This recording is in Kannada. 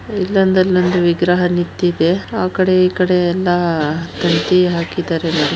ಇಲ್ಲೊಂದು ಅಲ್ಲೊಂದು ವಿಗ್ರಹ ನಿಂತಿದೆ ಆ ಕಡೆ ಈ ಕಡೆಯಲ್ಲ ತಂತಿ ಎಲ್ಲಾ ಹಾಕಿದರೆ ನೋಡಿ.